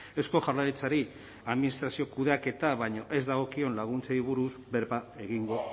eusko jaurlaritzari administrazio kudeaketa baino ez dagokion laguntzei buruz berba egingo